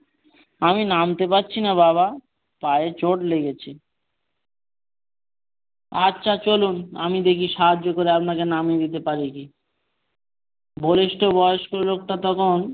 আমি নামতে পারছি না বাবা পায়ে চোট লেগেছে। আচ্ছা চলুন আমি দেখিয়ে সাহায্য করে আপনাকে নামিয়ে দিতে পারি কি বলিষ্ঠ বয়স্ক লোকটা তখন,